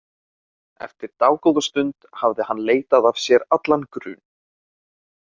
Eftir dágóða stund hafði hann leitað af sér allan grun.